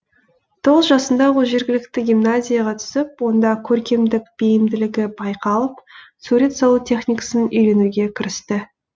тоғыз жасында ол жергілікті гимназияға түсіп онда көркемдік бейімділігі байқалып сурет салу техникасын үйренуге кірісті